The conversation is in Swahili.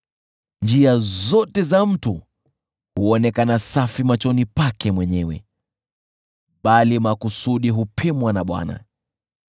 Njia zote za mtu huonekana safi machoni pake mwenyewe, bali makusudi hupimwa na Bwana .